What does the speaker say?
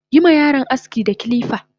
Yima yaron aski da kirika!